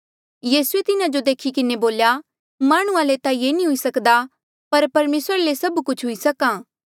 यीसूए तिन्हा जो देखी किन्हें बोल्या माह्णुंआं ले ता ये हुई नी सक्दा पर परमेसरा ले सभ कुछ हुई सक्हा